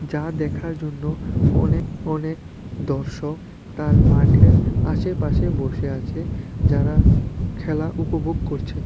যা দেখার জন্য অনেক অনেক দর্শক তার মাঠের আশেপাশে বসে আছে যারা খেলা উপভোগ করছে।